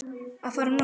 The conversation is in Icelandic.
að fara norður?